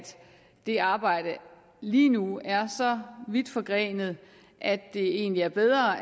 det arbejde lige nu er så vidt forgrenet at det egentlig er bedre